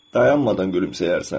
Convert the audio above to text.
Dayanmadan gülümsəyərsən.